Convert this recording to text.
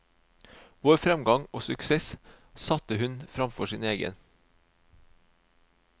Vår fremgang og suksess satte hun fremfor sin egen.